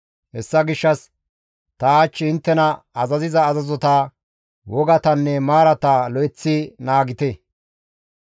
Hessa gishshas ta hach inttena azaziza azazota, wogatanne maarata lo7eththi naagite.